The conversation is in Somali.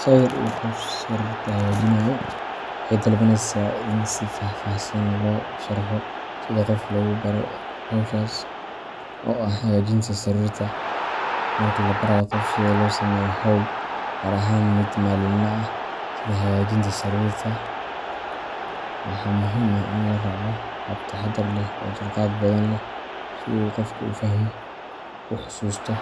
Sawir uu qof sariirta hagaajinayo, waxay dalbaneysaa in si faahfaahsan loo sharraxo sida qof loogu baro hawshaas, oo ah hagaajinta sariirta. Marka la barayo qof sida loo sameeyo hawl, gaar ahaan mid maalinle ah sida hagaajinta sariirta, waxaa muhiim ah in la raaco hab taxaddar leh oo dulqaad badan leh si uu qofku u fahmo, u xasuusto,